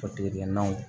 Tigɛgɛnnaw